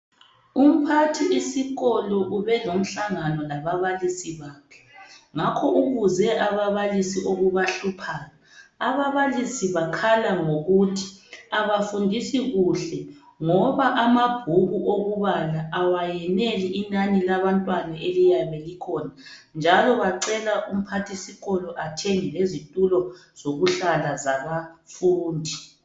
Umphathi isikolo ubelomhlangano lababalisi bakhe. Ngakho ubuze ababalisi okubahluphayo. Ababalisi bakhala ngokuthi abafundisi kuhle ngoba amabhuku okubala awayeneli inani labantwana eliyabe likhona, njalo bacela umphathisikolo athenge lezitulo zokuhlala zabafundi.